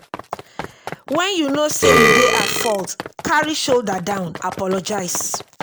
when you know sey you dey at fault carry shoulder down apologise